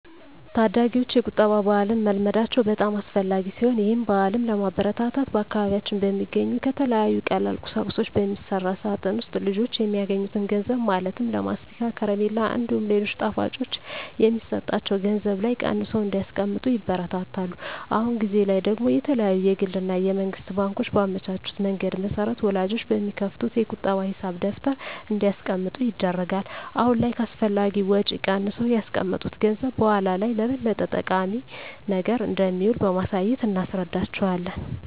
ታዳጊወች የቁጠባ ባህልን መልመዳቸው በጣም አስፈላጊ ሲሆን ይህን ባህልም ለማበረታታት በአካባቢያችን በሚገኙ ከተለያዩ ቀላል ቁሳቁሶች በሚሰራ ሳጥን ውስጥ ልጆች የሚያገኙትን ገንዘብ ማለትም ለማስቲካ፣ ከረሜላ እንዲሁም ሌሎች ጣፋጮች የሚሰጣቸው ገንዘብ ላይ ቀንሰው እንዲያስቀምጡ ይበረታታሉ። አሁን ጊዜ ላይ ደግሞ የተለያዩ የግል እና የመንግስት ባንኮች ባመቻቹት መንገድ መሰረት ወላጆች በሚከፍቱት የቁጠባ ሂሳብ ደብተር እንዲያስቀምጡ ይደረጋል። አሁን ላይ ከአላስፈላጊ ወጪ ቀንሰው ያስቀመጡት ገንዘብ በኃላ ላይ ለበለጠ ጠቃሚ ነገር እንደሚውል በማሳየት እናስረዳቸዋለን።